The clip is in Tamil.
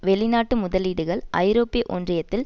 வெளிநாட்டு முதலீடுகள் ஐரோப்பிய ஒன்றியத்தில்